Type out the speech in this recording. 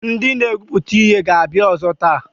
Ndị na-egwupụta ihe ga-abịa ọzọ taa.